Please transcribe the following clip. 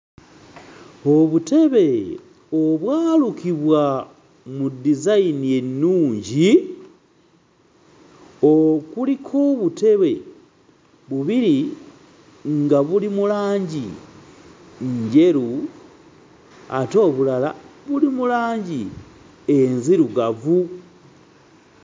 Obutebe obwalukibwa mu design ennungi, okuliko obutebe bubiri nga buli mu langi njeru, ate obulala buli mu langi enzirugavu.